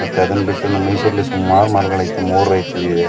ಮತ್ತೆ ಅದನ್ನ ಬಿಟ್ಟು ನಮ್ಮ ಮೈಸೂರಿನಲ್ಲಿ ಸುಮಾರ್ ಮರಗಳು ಐತೆ ಮೂರ್ ಐತೆ ಇವೆ.